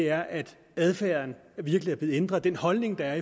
er at adfærden virkelig er blevet ændret den holdning der